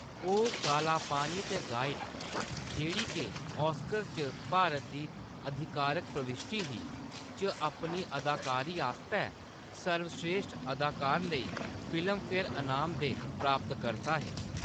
ओह्‌‌ काला पानी ते गाइड, जेह्‌ड़ी के ऑस्कर च भारत दी आधिकारक प्रविश्टी ही, च अपनी अदाकारी आस्तै सर्वस्रेश्ठ अदाकार लेई फिल्मफेयर इनाम दे प्राप्तकर्ता हे।